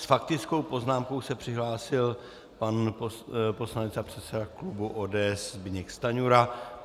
S faktickou poznámkou se přihlásil pan poslanec a předseda klubu ODS Zbyněk Stanjura.